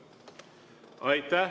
Aitäh!